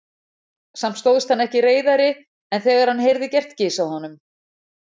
Samt stóðst hann ekki reiðari en þegar hann heyrði gert gys að honum.